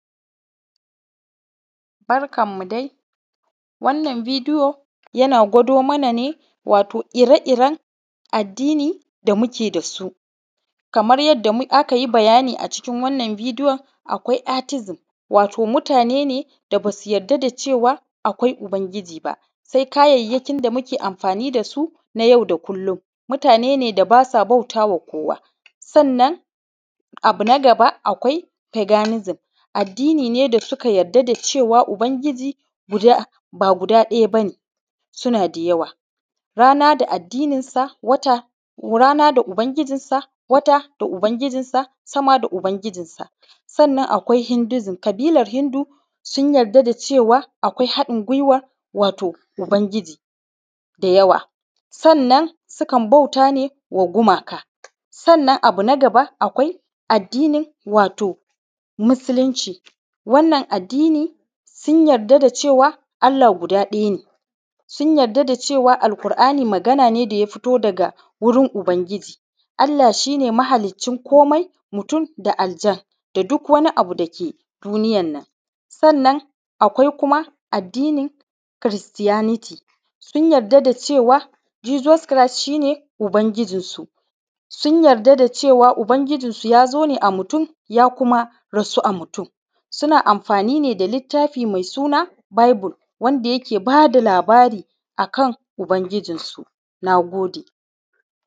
Barkan mu dai, wannan bidiyo yana gwado mana ne wato ire-iren addini da muke da su, kamr yadda aka yi bayani a cikin wannan bidiyo akwa “artism” wato mutane da basu yadda da cewa akwai Ubangiji ba sai kayayyakin da muke amfani da su na yau da kullun, mutane ne da basa bautawa kowa sannan abu nagaba akwai “paganism” addini ne da suka yadda da cewa Ubangiji guda ba guda ɗaya ba ne, suna da yawa rana da addinin sa, wata, rana da Ubangijinsa, wata da Ubangijinsa, sama da Ubangijinsa, sannan akwai “Hindism” ƙabilan Hindu sun yarda da cewa akwai hanɗin gwiwa wato Ubangiji da yawa sannan sukan bauta ne wa gumaka, sannan abu nagaba akwai addinin wato Musulunci, wannan addini sun yarda da cewa Allah guda ɗaya ne, sun yarda da cewa Al`qur`ani Magana ne da ya fito daga wurin Ubangiji, Allah shi ne mahaliccin komai, mutum da aljan da duk wani abu dake duniyan nan, sannan akwai kuma addinin kiristaniti sun yarda da cewa “Jesus Christ” shi ne Ubangijin su, sun yarda da cewa Ubangijin su ya zo ne a mutum ya kuma rasu a mutum suna amfani ne da littafin mai suna bible” wanda yake ba da labari akan Ubangijinsu, na gode.